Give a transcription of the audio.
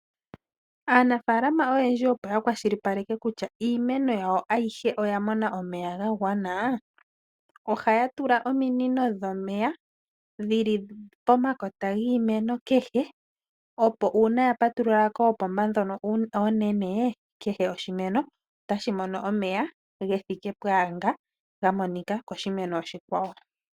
Aanafalama oyendji opo yakwashilipaleka kutya iimeno yawo ayihe oya mona omeya gagwana, ohaya tula ominino dhomeya dhili pomakota giimeno kehe opo uuna yapatulula koopomba ndhono oonene kehe oshimeno otashi mono omeya gethike pwaanga ga monika koshimeno oshikwawo.